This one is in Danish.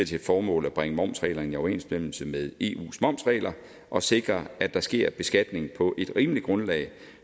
til formål at bringe momsreglerne i overensstemmelse med eus momsregler og sikre at der sker beskatning på et rimeligt grundlag